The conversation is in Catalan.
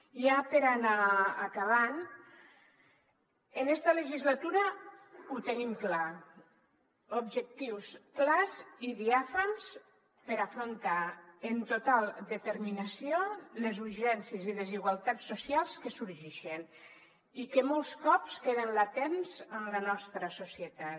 i ja per anar acabant en esta legislatura ho tenim clar objectius clars i diàfans per afrontar amb total determinació les urgències i desigualtats socials que sorgixen i que molts cops queden latents en la nostra societat